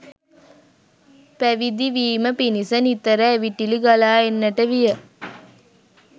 පැවිදිවීම පිණිස නිතර ඇවිටිලි ගලා එන්නට විය.